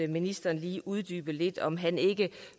ministeren lige uddybede lidt om han